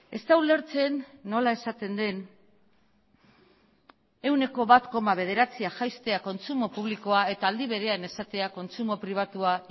ez da ulertzen nola esaten den ehuneko bat koma bederatzia jaistea kontsumo publikoa eta aldi berean esatea kontsumo pribatua